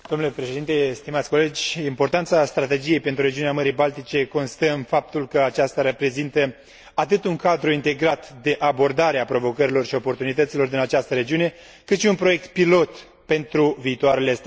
Importanța strategiei pentru regiunea Mării Baltice constă în faptul că aceasta reprezintă atât un cadru integrat de abordare a provocărilor și oportunităților din această regiune, cât și un proiect pilot pentru viitoarele strategii macroregionale.